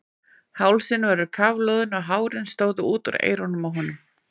Hálsinn var kafloðinn og hárin stóðu út úr eyrunum á honum.